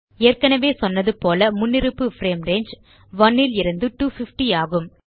ஏற்கனவே சொன்னது போல முன்னிருப்பு பிரேம் ரங்கே 1 லிருந்து 250 ஆகும்